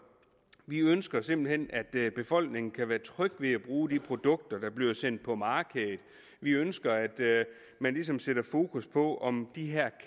vi ønsker simpelt hen at befolkningen kan være tryg ved at bruge de produkter der bliver sendt på markedet vi ønsker at man ligesom sætter fokus på om de her